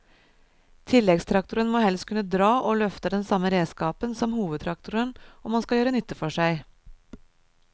Tilleggstraktoren må helst kunne dra og løfte den samme redskapen som hovedtraktoren om han skal gjøre nytte for seg.